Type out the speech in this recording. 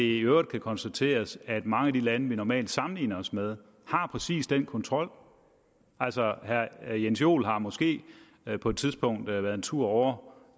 i øvrigt konstateres at mange af de lande vi normalt sammenligner os med har præcis den kontrol altså herre jens joel har måske på et tidspunkt været en tur ovre